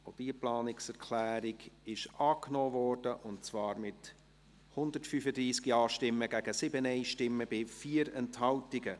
Auch diese Planungserklärung wurde angenommen, und zwar mit 135 Ja- gegen 7 NeinStimmen bei 4 Enthaltungen.